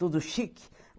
Tudo chique.